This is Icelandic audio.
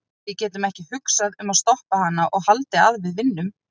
Við getum ekki hugsað um að stoppa hana og haldið að við vinnum.